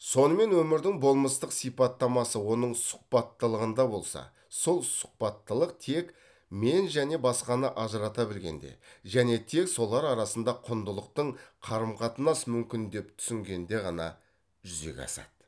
сонымен өмірдің болмыстық сипаттамасы оның сұхбаттылығында болса сол сұхбаттылық тек мен және басқаны ажырата білгенде және тек солар арасында құндылықтың қарым қатынас мүмкін деп түсінгенде ғана жүзеге асады